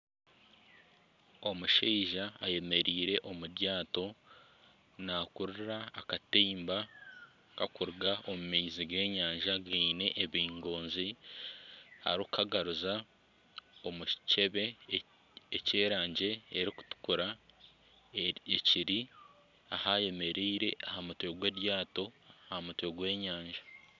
Omushaija ayemereire omu ryaato nakurura akatimba kakuruga omu maizi g'enyanja gaine ebingoonzi arikukagaruza omu kicebe eky'erangi eri kutukura ekiri ah'ayemereire aha mutwe gw'eryaato aha mutwe gw'enyanja.